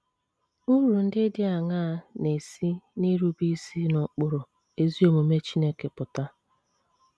Uru ndị dị aṅaa na - esi n’irube isi n’ụkpụrụ ezi omume Chineke apụta?